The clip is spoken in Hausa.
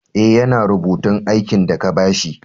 Eh, ya na rubutun aikin de ka ba shi.